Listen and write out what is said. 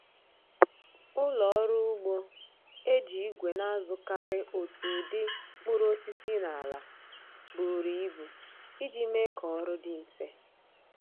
Ụlọ ọrụ ugbo eji igwe na-azụkarị otu ụdị mkpụrụosisi n’ala buru ibu iji mee k'ọrụ dị mfe